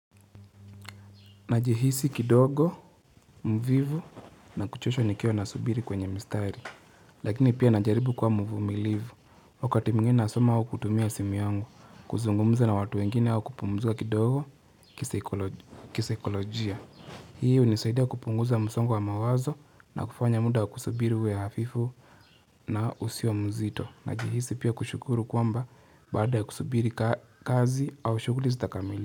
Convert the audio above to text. Najihisi kidogo, mvivu na kuchoshwa nikiwabnasubiri kwenye mistari. Lakini pia najaribu kwa mvumilivu. Wakati mwingine nasoma au kutumia simu yangu, kuzungumza na watu wengine au kupumzika kidogo kisaikolojia. Hii hunisaidia kupunguza msongo wa mawazo na kufanya muda kusubiri uwe hafifu na usiwe mzito. Najihisi pia kushukuru kwamba baada ya kusubiri kazi au shughuli zitakamilika.